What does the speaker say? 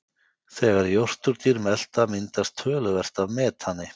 þegar jórturdýr melta myndast töluvert af metani